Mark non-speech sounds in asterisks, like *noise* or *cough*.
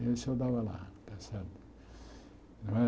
Isso eu dava lá. *unintelligible*